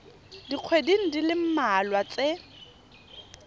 dikgweding di le mmalwa tse